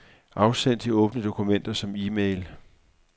Afsend de åbne dokumenter som e-mail.